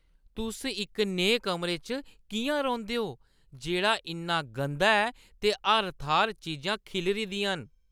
तुस इक नेहे कमरे च किʼयां रौंह्दे ओ जेह्ड़ा इन्ना गंदा ऐ ते हर थाह्‌र चीजां खिल्लरी दियां न?